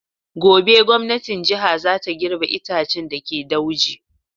Gobe gwamnatin jiha za ta girbe itaccen da ke dauji.